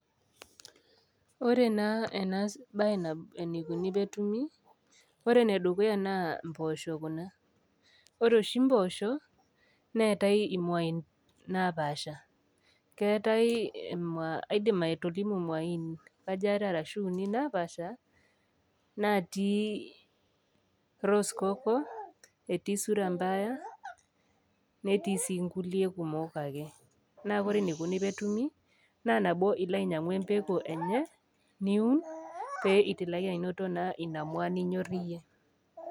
Ore naa ena baye eneikuni pee etumi, ore ene dukuya naa impoosho kuna, ore oshi impoosho, neatai imwain napaasha, keatai imwain, kaidim atolimu imwain ajo are ashu uni napaasha, natii Rosecoco, etii Sura mbaya, netii sii inkulie kumok ake, naa ore eneikuni pee etumi, naa nabo ilo ainyang'u embeko enye, niun, pee itilaki naa ainoto ina mwa ninyor oyie.